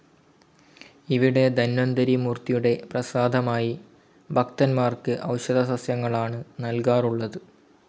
ഇവിടെ ധന്വന്തരി മൂർത്തിയുടെ പ്രസാദമായി ഭക്തന്മാർക്ക് ഒഷധസസ്യങ്ങളാണ് നൽകാറുള്ളത്.